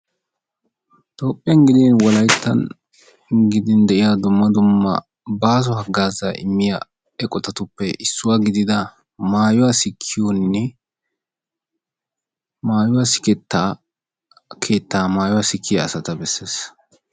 Toophiyan giddin wolaytta giddin de'iya dumma dumma baaso hagaaza immiyagee maayuwa sikkiyonne qassi maayuwa siketta hagaaza besees.